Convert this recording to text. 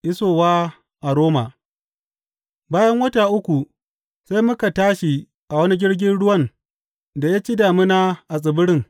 Isowa a Roma Bayan wata uku sai muka tashi a wani jirgin ruwan da ya ci damina a tsibirin.